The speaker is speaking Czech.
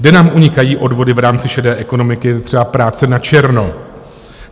Kde nám unikají odvody v rámci šedé ekonomiky, je třeba práce načerno.